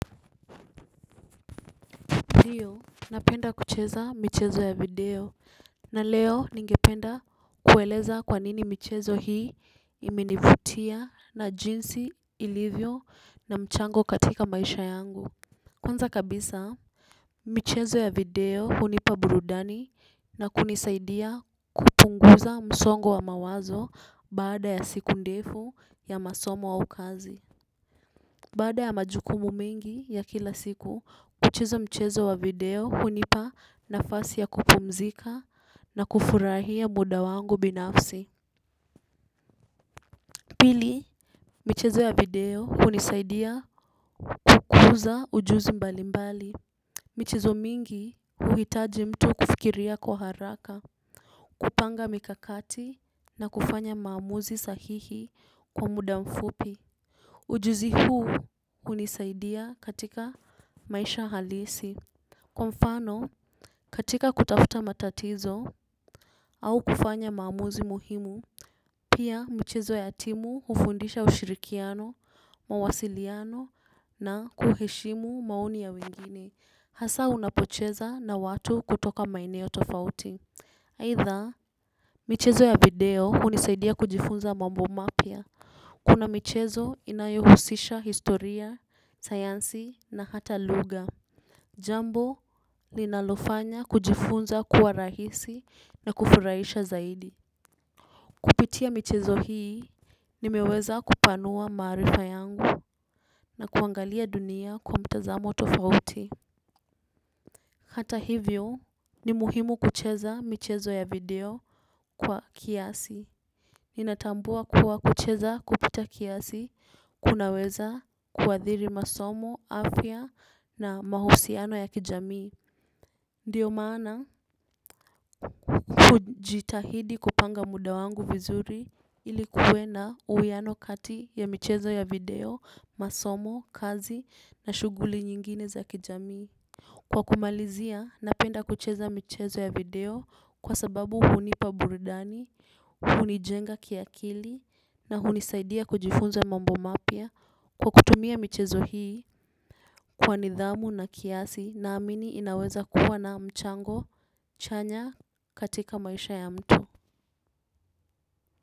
Hiyo, napenda kucheza michezo ya video na leo ningependa kueleza kwa nini michezo hii imenivutia na jinsi ilivyo na mchango katika maisha yangu. Kwanza kabisa, michezo ya video hunipa burudani na kunisaidia kupunguza msongo wa mawazo baada ya siku ndefu ya masomo au kazi. Baada ya majukumu mengi ya kila siku, kucheza mchezo wa video hunipa nafasi ya kupumzika na kufurahia muda wangu binafsi. Pili, mchezo wa video hunisaidia kukuza ujuzi mbalimbali. Michezo mingi huhitaji mtu kufikiria kwa haraka, kupanga mikakati na kufanya maamuzi sahihi kwa muda mfupi. Ujuzi huu hunisaidia katika maisha halisi. Kwa mfano katika kutafuta matatizo au kufanya maamuzi muhimu. Pia mchezo ya timu hufundisha ushirikiano, mawasiliano na kuheshimu maoni ya wengine. Hasa unapocheza na watu kutoka maeneo tofauti aidha michezo ya video hunisaidia kujifunza mambo mapya. Kuna michezo inayohusisha historia, sayansi na hata lugha. Jambo ninalofanya kujifunza kuwa rahisi na kufurahisha zaidi. Kupitia michezo hii nimeweza kupanua maarifa yangu na kuangalia dunia kwa mtazamo tofauti. Hata hivyo ni muhimu kucheza michezo ya video kwa kiasi. Ninatambua kuwa kucheza kupita kiasi kunaweza kuathiri masomo afya na mahusiano ya kijamii. Ndiyo maana hujitahidi kupanga muda wangu vizuri ili kuwe na uwiano kati ya michezo ya video masomo kazi na shughuli nyingine za kijamii. Kwa kumalizia napenda kucheza michezo ya video kwa sababu hunipa burudani hunijenga kiakili na hunisaidia kujifunza mambo mapya kwa kutumia michezo hii kwa nidhamu na kiasi naamini inaweza kuwa na mchango chanya katika maisha ya mtu.